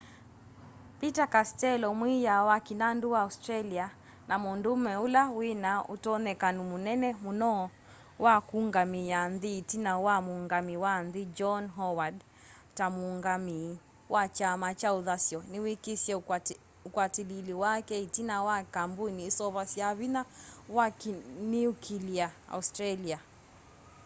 peter castello mwiiya wa kĩnandu wa australia na mũndũũme ũla wĩna ũtonyekano mũnene mũno wa kũũngamĩa nthĩ ĩtina wa muungamĩi wa nthĩ john howard ta mũũngamĩi wa kyama kya ũthasyo nĩwĩkisye ũkwatĩlĩĩli wake ĩtina wa kambũni ũseũvasya vinya wa kĩniũkĩlĩa australia